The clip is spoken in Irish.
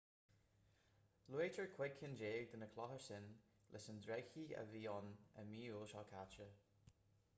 luaitear cúig cinn déag de na clocha sin leis an dreigechith a bhí ann i mí iúil seo caite